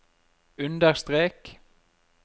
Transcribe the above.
understrek